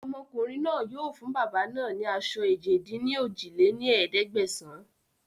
Ọmọkùnrin náà yìí o fún bàbá náà ni aṣọ èje-dín-ní-ojì lé ní ẹ̀ẹ́dẹ́gbẹ́sán